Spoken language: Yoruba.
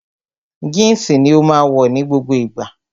Jínsì ni ó máa wọ̀ ní gbogbo ìgbà